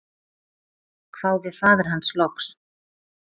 hváði faðir hans loks.